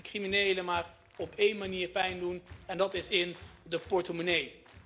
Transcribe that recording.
We kunnen die criminelen maar op één manier pijn doen en dat is in hun portemonnee.